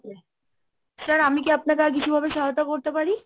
sir আমি কি আপনাকে আর কিছু ভাবে সহায়তা করতে পারি?